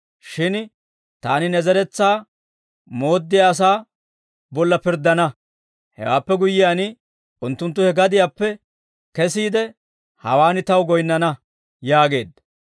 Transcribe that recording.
Shin taani ne zeretsaa mooddiyaa asaa bolla pirddana; hewaappe guyyiyaan, unttunttu he gadiyaappe kesiide, hawaan taw goyinnana› yaageedda.